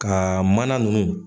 Ka mana nunnu